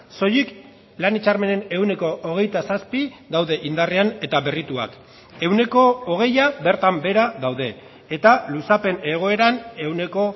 soilik lan hitzarmenen ehuneko hogeita zazpi daude indarrean eta berrituak ehuneko hogeia bertan behera daude eta luzapen egoeran ehuneko